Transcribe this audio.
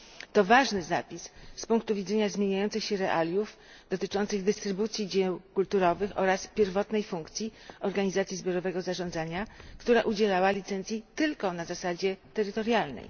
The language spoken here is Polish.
To ważny zapis z punktu widzenia zmieniających się realiów dotyczących dystrybucji dzieł kulturowych oraz pierwotnej funkcji organizacji zbiorowego zarządzania, która udzielała licencji tylko na zasadzie terytorialnej.